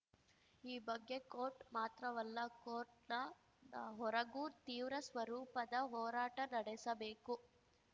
ಈ ಬಗ್ಗೆ ಕೋರ್ಟ್‌ ಮಾತ್ರವಲ್ಲ ಕೋರ್ಟ್‌ನ ಹೊರಗೂ ತೀವ್ರ ಸ್ವರೂಪದ ಹೋರಾಟ ನಡೆಸಬೇಕು